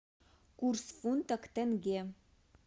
курс фунта к тенге